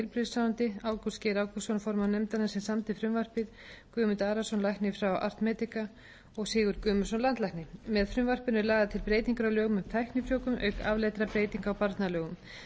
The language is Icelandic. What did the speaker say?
samdi frumvarpið guðmund arason lækni frá art medica og sigurð guðmundsson landlækni með frumvarpinu eru lagðar til breytingar á lögum um tæknifrjóvgun auk afleiddra breytinga á barnalögum með frumvarpinu er meðal annars lagt